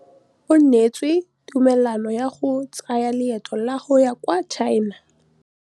O neetswe tumalanô ya go tsaya loetô la go ya kwa China.